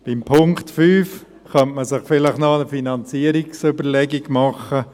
Beim Punkt 5 könnte man sich vielleicht noch die Finanzierungsüberlegung machen.